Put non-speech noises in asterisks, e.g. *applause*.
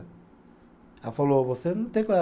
Ela falou, você não tem *unintelligible*